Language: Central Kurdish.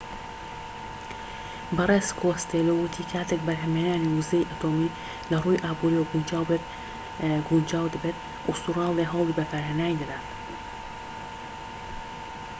بەڕێز کۆستێلۆ وتی کاتێك بەرهەمهێنانی وزەی ئەتۆمی لە ڕووی ئابوریەوە گونجاو دەبێت ئوستورالیا هەوڵی بەکارهێنانی دەدات